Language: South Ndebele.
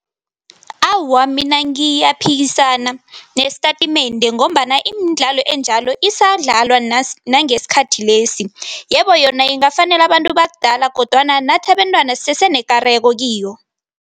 Awa, mina ngiyaphikisana nesitatimende ngombana imidlalo enjalo isadlalwa nangesikhathi lesi. Yebo, yona ingafanela abantu bakudala kodwana nathi abentwana sisesenekareko kiyo.